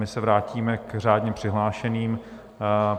My se vrátíme k řádně přihlášeným.